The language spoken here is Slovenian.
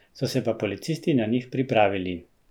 So se pa policisti na njih pripravili.